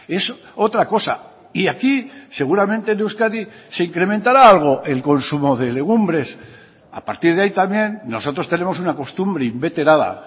es otra cosa y aquí seguramente en euskadi se incrementará algo el consumo de legumbres a partir de ahí también nosotros tenemos una costumbre inveterada